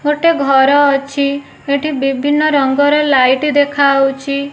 ଗୋଟେ ଘର ଅଛି ସେଠି ବିଭିନ୍ନ ପ୍ରକାରର ଲାଇଟ୍ ଦେଖାଯାଉଛି।